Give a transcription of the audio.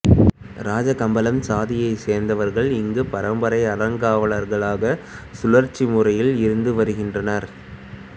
ராஜகம்பளம் சாதியைச் சேர்ந்தவர்கள் இங்கு பரம்பரை அறங்காவலர்களாக சுழற்சி முறையில் இருந்து வருகின்றனர்